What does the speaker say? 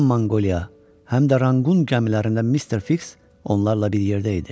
Həm Monqoliya, həm də Ranqqun gəmilərində Mister Fiks onlarla bir yerdə idi.